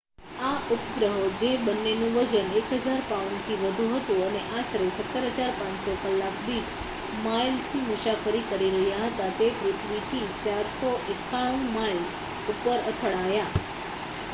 આ ઉપગ્રહો જે બંનેનું વજન 1000 પાઉન્ડથી વધુ હતું, અને આશરે 17,500 કલાક દીઠ માઇલથી મુસાફરી કરી રહ્યા હતા તે પૃથ્વીથી 491 માઇલ ઉપર અથડાયા